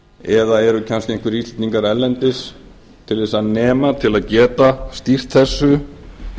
eða eru kannski einhverjir íslendingar erlendis til þess að nema til að geta stýrt þessu